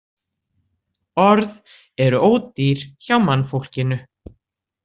Orð eru ódýr hjá mannfólkinu.